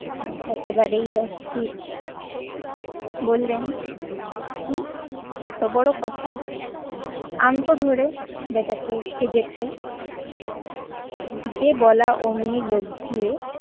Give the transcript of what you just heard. একেবারেই অস্থির। বললেন কি? এত বড় কথা। আনতো ধরে ব্যাটাকে ভেজে খাই। যে বলা অমনি লোক গিয়ে